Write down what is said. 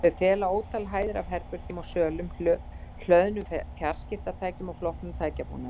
Þau fela ótal hæðir af herbergjum og sölum, hlöðnum fjarskiptatækjum og flóknum tækjabúnaði.